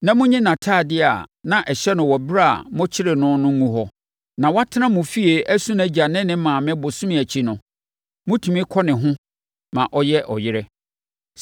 na monyi ntadeɛ a na ɛhyɛ no wɔ ɛberɛ a mokyeree no no ngu hɔ. Na watena mo fie asu nʼagya ne ne maame bosome akyi no, motumi kɔ ne ho ma ɔyɛ ɔyere.